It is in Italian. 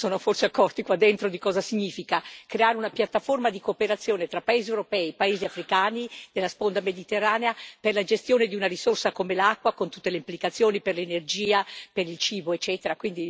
Pochi si sono forse accorti, qua dentro, di cosa significa creare una piattaforma di cooperazione tra paesi europei e paesi africani della sponda mediterranea per la gestione di una risorsa come l'acqua, con tutte le implicazioni per l'energia, per il cibo, eccetera.